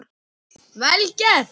Vel gert.